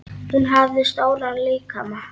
Hún hafði stóran líkama.